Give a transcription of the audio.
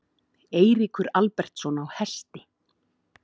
Eiríkur Albertsson á Hesti.